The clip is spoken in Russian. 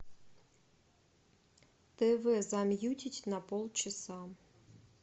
тв замьютить на полчаса